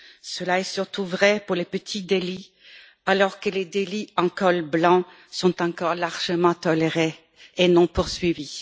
Cela est surtout vrai pour les petits délits, alors que les délits en col blanc sont encore largement tolérés et non poursuivis.